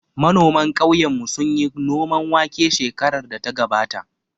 Manoman ƙauyen mu sunyi noman wake shekarar da ta gabata